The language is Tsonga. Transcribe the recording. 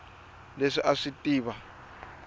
leswi a a swi tiva